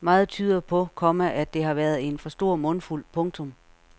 Meget tyder på, komma at det har været en for stor mundfuld. punktum